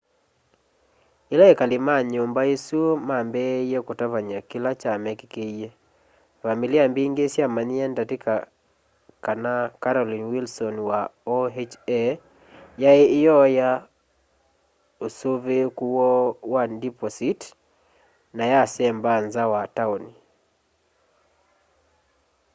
ila ekali ma nyumba isu mambiie kutavany'a kila kya mekîkîie vamili mbingi syamanyie ndatika kana carolyn wilson wa oha yaai iooya usuviiku woo wa ndipositi na yasemba nza wa tauni